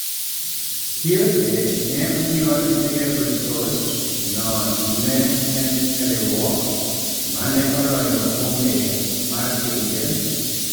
Tiote ne onyuol e piny Ivory Coast no ne en e riwruok mane oloyo okombe mar pinje